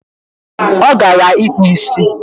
O gara ikpu isi?